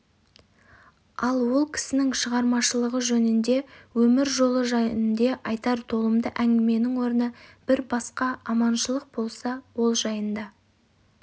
ал ол кісінің шығармашылығы жөнінде өмір жолы жөнінде айтар толымды әңгіменің орны бір басқа аманшылық болса ол жайында